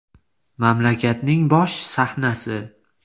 Mamlakatning bosh sahnasi!